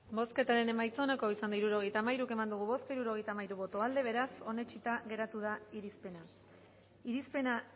bozketaren emaitza onako izan da hirurogeita hamairu eman dugu bozka hirurogeita hamairu boto aldekoa beraz onetsita geratu da irizpena irizpena